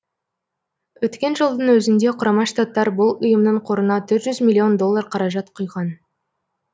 өткен жылдың өзінде құрама штаттар бұл ұйымның қорына төрт жүз миллион доллар қаражат құйған